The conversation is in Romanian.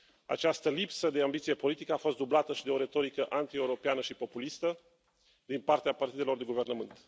Această lipsă de ambiție politică a fost dublată și de o retorică antieuropeană și populistă din partea partidelor de guvernământ.